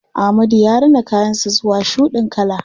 Ahmadu ya rina kayan sa zuwa shuɗin kala.